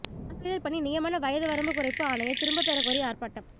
ஆசிரியா் பணி நியமன வயது வரம்பு குறைப்பு ஆணையை திரும்பப் பெறக் கோரி ஆா்ப்பாட்டம்